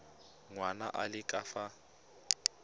ngwana a le ka fa